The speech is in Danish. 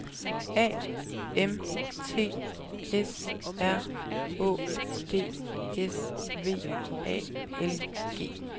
A M T S R Å D S V A L G